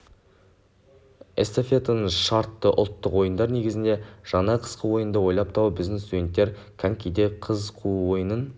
эстафетаның шарты ұлттық ойындар негізінде жаңа қысқы ойынды ойлап табу біздің студенттер конькиде қыз қуу ойынын